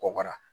Kɔkɔra